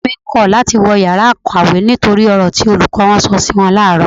Àwọn ọ̀rẹ́ mi kọ̀ láti wọ ìyára ìkàwé nítorí ọ̀rọ̀ tí olùkọ́ wọn sọ si wọn làárọ̀.